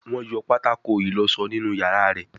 Wón yọ patako ìlósó nínú iyàrá rẹ.